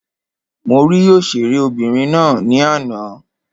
Mo rí òṣèré obìnrin ná ní àná.